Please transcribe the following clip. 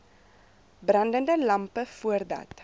brandende lampe voordat